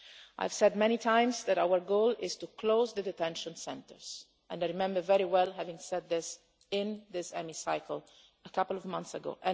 I have said many times that our goal is to close the detention centres and I remember very well saying this in this Chamber a couple of months ago.